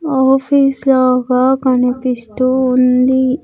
Office లాగా కనిపిస్తూ ఉంది .